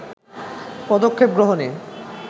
পদক্ষেপ গ্রহণে